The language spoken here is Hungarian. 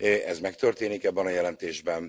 Ez megtörténik abban a jelentésben.